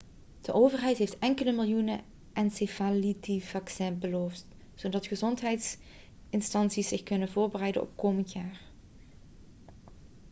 de overheid heeft enkele miljoenen encefalitisvaccins beloofd zodat gezondheidsinstanties zich kunnen voorbereiden op komend jaar